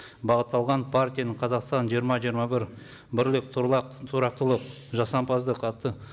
бағытталған партияның қазақстан жиырма жиырма бір бірлік тұрақтылық жасампаздық атты